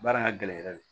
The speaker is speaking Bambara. Baara ka gɛlɛn yɛrɛ de